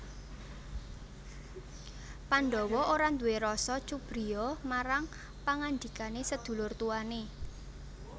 Pandhawa ora nduwé rasa cubriya marang pangandikane sedulur tuwane